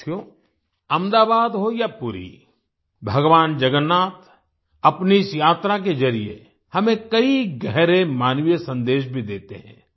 साथियो अहमदाबाद हो या पुरी भगवान् जगन्नाथ अपनी इस यात्रा के जरिए हमें कई गहरे मानवीय सन्देश भी देते हैं